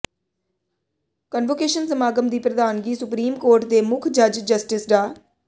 convocation ਸਮਾਗਮ ਦੀ ਪ੍ਰਧਾਨਗੀ ਸੁਪਰੀਮ ਕੋਰਟ ਦੇ ਮੁੱਖ ਜੱਜ ਜਸਟਿਸ ਡਾ